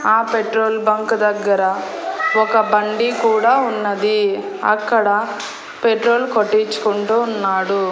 ఆ petrol bunk దగ్గర ఒక బండి కూడా ఉన్నది అక్కడ పెట్రోల్ కొట్టించుకుంటూ ఉన్నాడు.